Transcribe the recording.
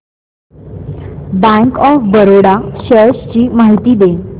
bank of Baroda shares ची माहिती दे